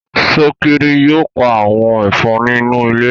Sokiri yóò pá àwọn Ẹ̀fọ̀n inú ilé.